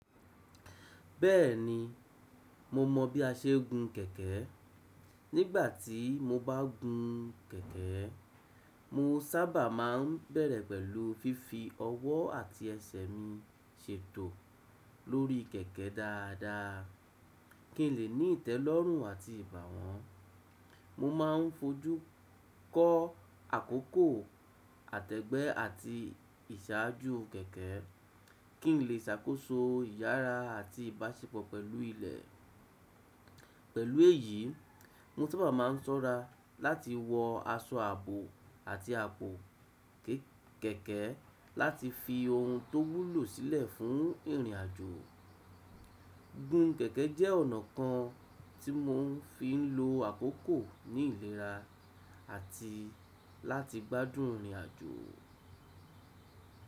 Bẹ́ẹ̀ni, mo mọ bí a ṣe ń gun kẹ̀kẹ́. Nígbà tí mo bá ń gun kẹ̀kẹ́, mo sábà máa ń bẹ̀rẹ̀ pẹ̀lú fífi ọwọ́ àti ẹsẹ̀ mi ṣètò lórí kẹ̀kẹ́ dáadáa, kí n lè ní ìtẹ́lọ́rùn àti ìbàwọn. Mo máa ń fojú kọ àkókò, àtẹ̀gbẹ́ àti ìsàájú kẹ̀kẹ́, kí n lè ṣàkóso ìyára àti ìbáṣepọ̀ pẹ̀lú ilẹ̀. Pẹ̀lú èyí, mo sábà máa ń ṣọ́ra láti wọ aṣọ ààbò àti àpò kẹ̀kẹ́ láti fi ohun tó wúlò sílẹ̀ fún ìrìnàjò. Gun kẹ̀kẹ́ jẹ́ ọ̀nà kan tí mò ń fi ń lo àkókò ní ìlera àti láti gbádùn ìrìnàjò.